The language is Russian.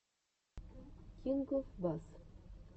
кингофбасс